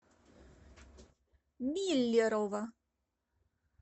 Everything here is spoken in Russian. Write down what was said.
миллерово